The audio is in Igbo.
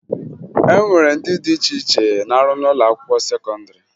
E nwere ndị dị iche iche na-arụ n'ụlọakwụkwọ sekọndịrị